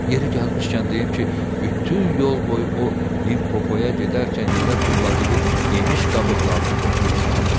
Yeri gəlmişkən deyim ki, bütün yol boyu o, Limpopoya gedərkən yerə tulladığı yemiş qabıqlarını toplayırdı.